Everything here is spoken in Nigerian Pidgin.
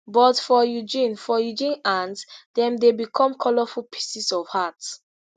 but for eugene for eugene hands dem dey become colourful pieces of art